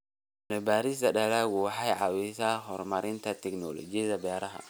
Cilmi-baarista dalaggu waxay caawisaa horumarinta tignoolajiyada beeraha.